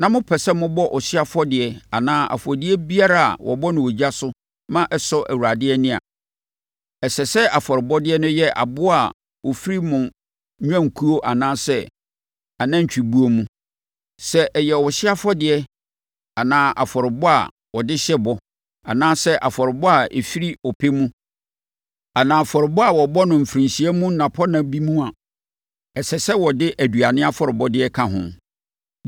na mopɛ sɛ mobɔ ɔhyeɛ afɔdeɛ anaa afɔdeɛ biara a wɔbɔ no ogya so ma ɛsɔ Awurade ani a, ɛsɛ sɛ afɔrebɔdeɛ no yɛ aboa a ɔfiri mo nnwankuo anaa anantwibuo mu. Sɛ ɛyɛ ɔhyeɛ afɔdeɛ, anaa afɔrebɔ a wɔde hyɛ bɔ, anaa afɔrebɔ a ɛfiri ɔpɛ mu, anaa afɔrebɔ a wɔbɔ no afirinhyia mu nnapɔnna bi mu no a, ɛsɛ sɛ wɔde aduane afɔrebɔdeɛ ka ho.